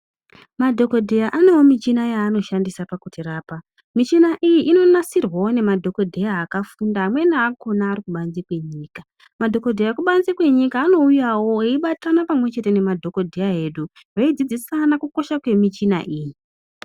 Madhokodheya anewo michina yaanoshandisa pakutirapa. Michina iyi inonasirwawo ngemadhokoteya akafunda amweni akhona ari kubanze kwenyika. Madhokodheya ekubanze kwenyika anouyawo eibatana pamwe chete nemadhokodheya edu veidzidzisane kukosha kwemichina iyi.